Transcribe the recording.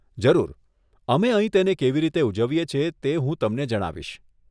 જરૂર. અમે અહીં તેને કેવી રીતે ઉજવીએ છીએ તે હું તમને જણાવીશ.